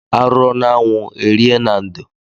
Arụọ n'anwụ erie na ndo.